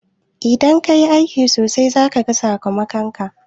Idan ka yi aiki sosai, za ka gan sakamakon.